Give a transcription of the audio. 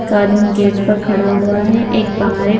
एक आदमी गेट पर खड़ा हुआ है एक बाहर एक--